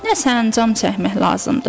Nə sancam çəkmək lazımdır.